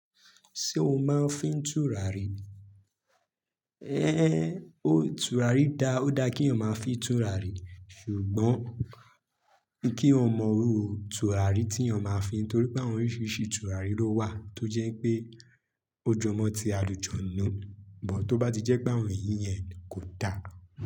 Ṣé o máa ń fín tùràrí? É, o tùràrí dá, ó dá kí èèyàn máa fín tùràrí. Ṣùgbọ́n kí wọ́n mọrúù tùràrí tí èèyàn máa fín torí pé àwọn oríṣiríṣi tùràrí ló wà tó jẹ́ pé ó jọmọ́ tí alu-janu. Tó bá ti jẹ́ pé àwọn èyí yẹn kò dá.